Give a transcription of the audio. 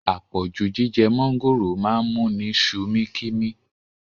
Apọ̀jù jíjẹ mọ̀ngòrò máa ń múni sumi kimi